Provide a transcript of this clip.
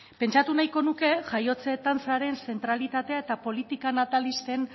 pentsatu nahiko nuke jaiotze tasaren zentralitatea eta politika natalisten